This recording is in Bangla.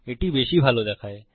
এটা বেশি ভালো দেখায়